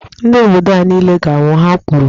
Ndị obodo a niile ga -anwụ, Ha kwuru.